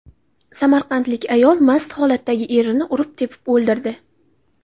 Samarqandlik ayol mast holatdagi erini urib-tepib o‘ldirdi.